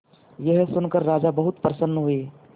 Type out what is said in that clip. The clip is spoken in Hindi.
यह सुनकर राजा बहुत प्रसन्न हुए